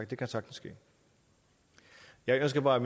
det kan sagtens ske jeg skal bare